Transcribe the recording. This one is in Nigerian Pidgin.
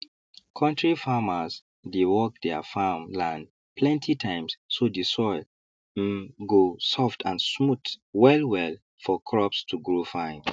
kontri farmers dey work their farm land plenty times so the soil um go soft and smooth wellwell for crops to grow fine